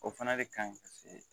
O fana de ka ɲi paseke